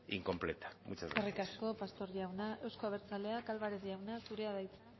incompleta muchas gracias eskerrik asko pastor jauna euzko abertzaleak álvarez jauna zurea da hitza